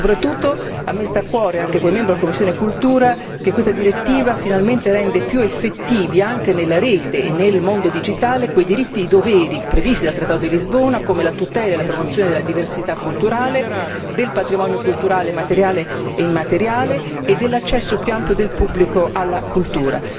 Soprattutto a me sta a cuore, anche come membro della commissione cultura, che questa direttiva finalmente rende più effettivi anche nella rete e nel mondo digitale quei diritti e doveri previsti dal trattato di Lisbona come la tutela e la promozione della diversità culturale, del patrimonio culturale materiale e immateriale e dell'accesso più ampio del pubblico alla cultura.